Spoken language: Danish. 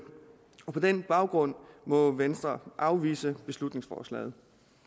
og på den baggrund må venstre afvise beslutningsforslaget